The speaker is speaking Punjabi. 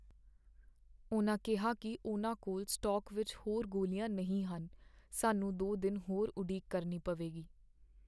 ਉਨ੍ਹਾਂ ਕਿਹਾ ਕੀ ਉਨ੍ਹਾਂ ਕੋਲ ਸਟਾਕ ਵਿੱਚ ਹੋਰ ਗੋਲੀਆਂ ਨਹੀਂ ਹਨ ਸਾਨੂੰ ਦੋ ਦਿਨ ਹੋਰ ਉਡੀਕ ਕਰਨੀ ਪਵੇਗੀ